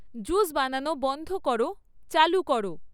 juice বানানো বন্ধ করো চালু করো